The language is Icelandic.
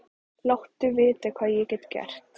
Láttu vita hvað ég get gert.